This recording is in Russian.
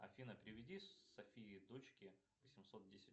афина переведи софии дочке восемьсот десять